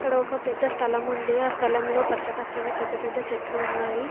ఇక్కడ ఒక పెద్ద స్థలం ఉంది ఆ స్థలంలో పచ్చ పచ్చని పెద్దపెద్ద చెట్లు ఉన్నాయి.